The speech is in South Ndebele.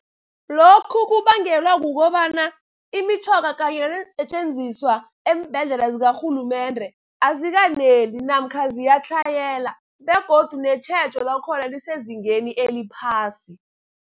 Lokhu kubangelwa kukobana imitjhoga kanye neensetjenziswa eembhedlela zikarhulumende, azikaneli namkha ziyatlhayela begodu netjhejo lakhona lisezingeni eliphasi.